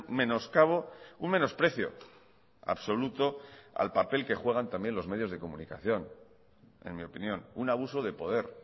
menoscabo un menosprecio absoluto al papel que juegan también los medios de comunicación en mi opinión un abuso de poder